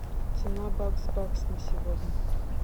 цена бакс бакс на сегодня